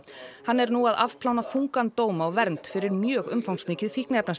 hann er nú að afplána þungan dóm á vernd fyrir mjög umfangsmikið